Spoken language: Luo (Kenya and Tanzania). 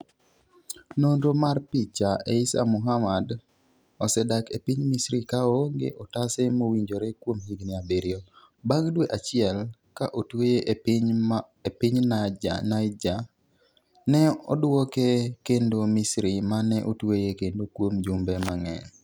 nonro mar picha 'Eissa Muhamad (manie diere) osedak e piny Misri ka oonge otase mowinjore kuom higni abiriyo. Bang' dwe achiel ka otweye e piny Niger, ne odwoke kendo Misri mane otweye kendo kuom jumbe mang'eny